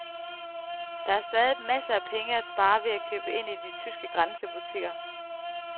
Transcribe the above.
Der er stadig masser af penge at spare ved at købe ind i de tyske grænsebutikker.